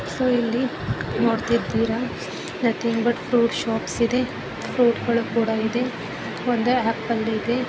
So ಇಲ್ಲಿ ನೋಡ್ತಿದೀರಾ nothing but fruit shops ಇದೆ ಫ್ರೂಟ್‌ ಗಳು ಕೂಡ ಇದೆ ಒಂದು ಆಪಲ್ ಇದೆ .